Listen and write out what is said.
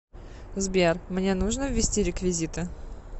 сбер мне нужно ввести реквизиты